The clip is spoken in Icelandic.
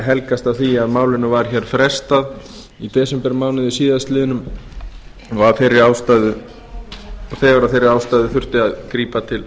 helgast af því að málinu var frestað í desembermánuði síðastliðnum og þegar af þeirri ástæðu þurfti að grípa til